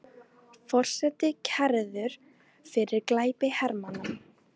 Forseti kærður fyrir glæpi hermanna